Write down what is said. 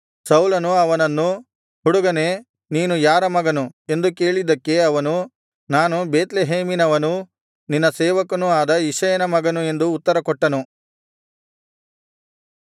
ಸೌಲನು ಅವನನ್ನು ಹುಡುಗನೇ ನೀನು ಯಾರ ಮಗನು ಎಂದು ಕೇಳಿದ್ದಕ್ಕೆ ಅವನು ನಾನು ಬೇತ್ಲೆಹೇಮಿನವನೂ ನಿನ್ನ ಸೇವಕನೂ ಆದ ಇಷಯನ ಮಗನು ಎಂದು ಉತ್ತರಕೊಟ್ಟನು